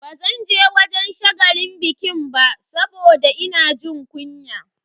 Bazanje wajen shagalin bikin ba saboda ina jin kunya.